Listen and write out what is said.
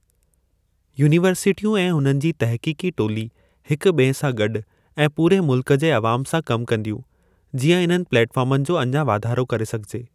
यूनीवर्सिटियूं ऐं उन्हनि जी तहक़ीक़ी टोली हिक ॿिए सां गॾु ऐं पूरे मुल्क जे अवाम सां कम कंदियूं, जीअं इन्हनि प्लेटफार्मनि जो अञां वाधारो करे सघिजे।